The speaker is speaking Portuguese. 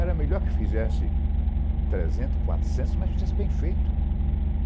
Era melhor que fizesse trezentos, quatrocentos, mas fizesse bem feito.